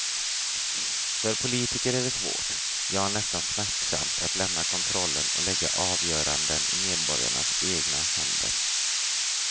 För politiker är det svårt, ja nästan smärtsamt att lämna kontrollen och lägga avgöranden i medborgarnas egna händer.